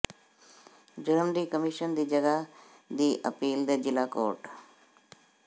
ਜੁਰਮ ਦੀ ਕਮਿਸ਼ਨ ਦੀ ਜਗ੍ਹਾ ਦੀ ਅਪੀਲ ਦੇ ਜ਼ਿਲ੍ਹਾ ਕੋਰਟ